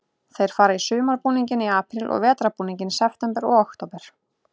Þeir fara í sumarbúning í apríl og vetrarbúning í september og október.